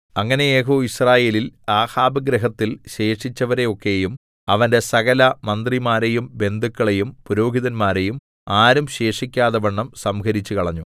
അങ്ങനെ യേഹൂ യിസ്രയേലിൽ ആഹാബ് ഗൃഹത്തിൽ ശേഷിച്ചവരെ ഒക്കെയും അവന്റെ സകലമന്ത്രിമാരേയും ബന്ധുക്കളെയും പുരോഹിതന്മാരെയും ആരും ശേഷിക്കാതെവണ്ണം സംഹരിച്ചുകളഞ്ഞു